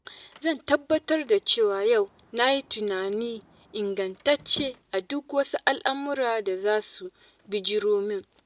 Zan tabbatar da cewa yau na yi tunani ingantacce a duk wasu al'amuran da za su bijiro min.